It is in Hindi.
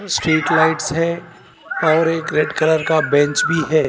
स्ट्रीट लाइट्स है और एक रेड कलर का बेंच भी है।